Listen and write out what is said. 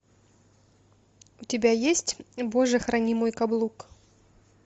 у тебя есть боже храни мой каблук